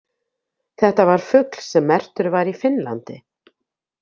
Þetta var fugl sem merktur var í Finnlandi.